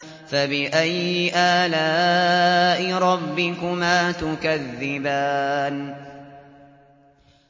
فَبِأَيِّ آلَاءِ رَبِّكُمَا تُكَذِّبَانِ